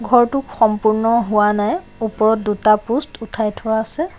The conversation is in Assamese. ঘৰটো সম্পূৰ্ণ হোৱা নাই ওপৰত দুটা প'ষ্ট উঠাই থোৱা আছে।